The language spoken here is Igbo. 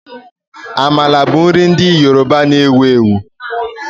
Amala bụ nri ndị Yoruba na-ewu ewu